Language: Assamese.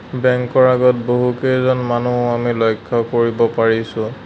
বেঙ্ক ৰ আগত বহুকেইজন মানুহ আমি লক্ষ্য কৰিব পাৰিছোঁ।